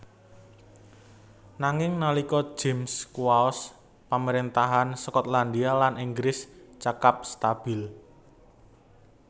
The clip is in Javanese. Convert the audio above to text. Nanging nalika James kuwaos pamarèntahan Skotlandia lan Inggris cekap stabil